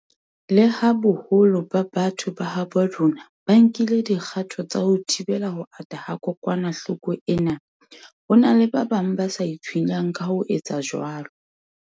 Leha boholo ba batho ba habo rona ba nkile dikgato tsa ho thibela ho ata ha kokwanahloko ena, ho na le ba bang ba sa itshwenyang ka ho etsa jwalo.